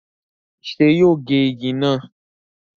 ṣé yóò gé igi náà?